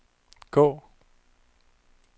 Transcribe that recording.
gå